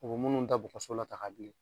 O munnu ta bu kaso la ta k'a di